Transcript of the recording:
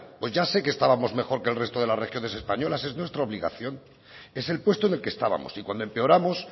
pues ya sé que estábamos mejor que el resto de las regiones españolas es nuestra obligación es el puesto en el que estábamos y cuando empeoramos